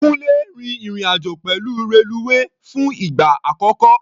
Kúńlé rin ìrìn-àjò pẹ̀lú reluwe fún ìgbà àkọ́kọ́.